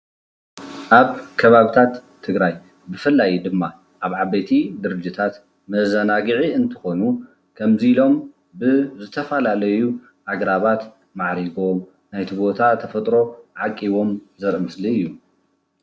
ኣብ ከባብታት ትግራይ ብፍላይ ድማ ኣብ ዓበይቲ ድርጅታት መዛናግዒ እንትኾኑ ከምዚ ኢሎም ብዝተፈላለዩ ኣግራባት ማዕሪጎም ናይቲ ቦታ ተፈጥሮ ዓቂቦም ዘርኢ ምስሊ እዩ፡፡